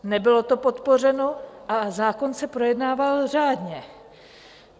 Nebylo to podpořeno a zákon se projednával řádně.